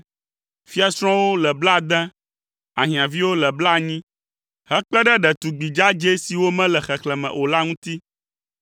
Fiasrɔ̃wo le blaade, ahiãviwo le blaenyi, hekpe ɖe ɖetugbi dzadzɛ siwo mele xexlẽme o la ŋuti;